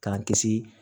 K'an kisi